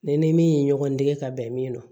Ne ni min ye ɲɔgɔn dege ka bɛn min ma